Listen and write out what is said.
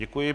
Děkuji.